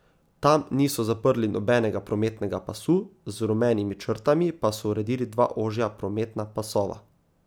Tam niso zaprli nobenega prometnega pasu, z rumenimi črtami pa so uredili dva ožja prometna pasova.